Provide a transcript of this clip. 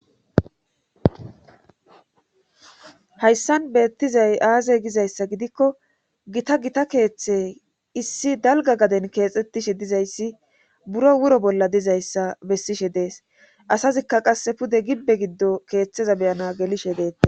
hayssan beettizay aaze gizayssa gidikko gita gita keeththe issi dalga gaden keexxettishe dizayssi buro wuro bolla dizayssa bessishe dees asazikka qasse pude gibbe giddo keeththeza beyana gelishe deeta